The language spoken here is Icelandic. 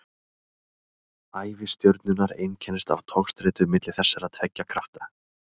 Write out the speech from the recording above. ævi stjörnunnar einkennist af togstreitu milli þessara tveggja krafta